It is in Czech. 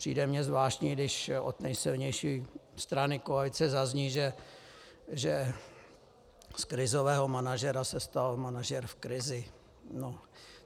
Přijde mi zvláštní, když od nejsilnější strany koalice zazní, že z krizového manažera se stal manažer v krizi.